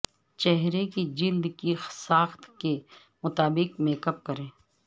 چہرے کی جلد کی ساخت کے مطابق میک اپ کریں